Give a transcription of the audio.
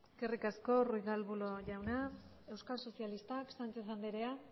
eskerrik asko ruiz de arbulo jauna euskal sozialistak sánchez anderea